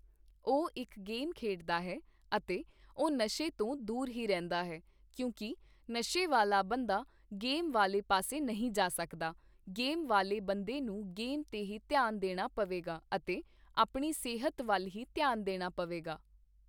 ਉਹ ਇੱਕ ਗੇਮ ਖੇਡਦਾ ਹੈ ਅਤੇ ਉਹ ਨਸ਼ੇ ਤੋਂ ਦੂਰ ਹੀ ਰਹਿੰਦਾ ਹੈ ਕਿਉਂਕਿ ਨਸ਼ੇ ਵਾਲ਼ਾ ਬੰਦਾ ਗੇਮ ਵਾਲ਼ੇ ਪਾਸੇ ਨਹੀਂ ਜਾ ਸਕਦਾ, ਗੇਮ ਵਾਲ਼ੇ ਬੰਦੇ ਨੂੰ ਗੇਮ 'ਤੇ ਹੀ ਧਿਆਨ ਦੇਣਾ ਪਵੇਗਾ ਅਤੇ ਆਪਣੀ ਸਿਹਤ ਵੱਲ ਹੀ ਧਿਆਨ ਦੇਣਾ ਪਵੇਗਾ